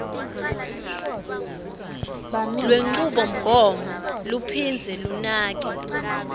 lwenchubomgomo luphindze lunake